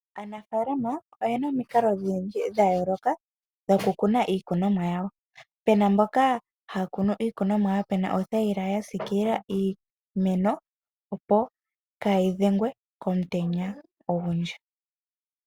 Aanafaalama oyena omikalo odhindji dhayooloka dhokukuna iikunomwa yawo, pena mboka haya kunu iikunomwa yawo mothayila yasiikila iimeno opo kaayi dhengwe komutenya ogundji.